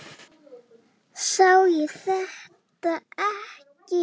Sá ég þetta ekki?